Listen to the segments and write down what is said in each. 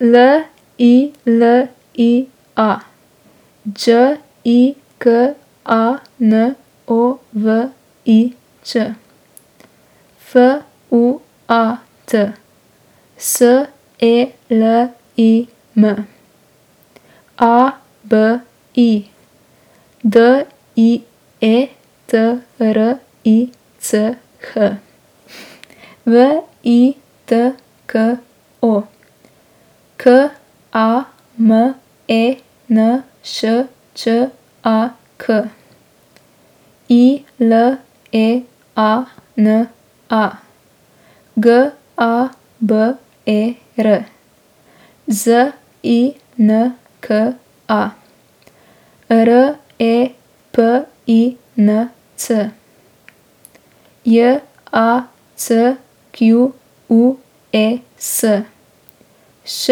L I L I A, Đ I K A N O V I Ć; F U A T, S E L I M; A B I, D I E T R I C H; V I T K O, K A M E N Š Č A K; I L E A N A, G A B E R; Z I N K A, R E P I N C; J A C Q U E S, Š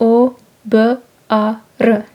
O B A R.